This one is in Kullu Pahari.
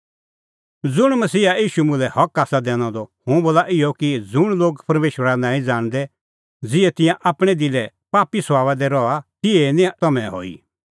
ज़ुंण मुंह मसीहा ईशू मुल्है हक आसा दैनअ द हुंह बोला इहअ कि ज़ुंण लोग परमेशरा नांईं ज़ाणदै ज़िहै तिंयां आपणैं दिले पापी सभाबा दी रहा तिहै निं तम्हैं हई